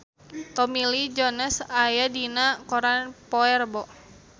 Tommy Lee Jones aya dina koran poe Rebo